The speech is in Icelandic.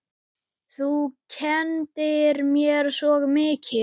Þú kenndir mér svo mikið.